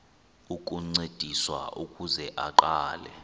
ukuncediswa ukuze aqale